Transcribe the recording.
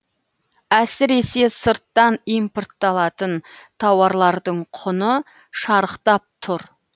әсіресе сырттан импортталатын тауарлардың құны шарықтап тұр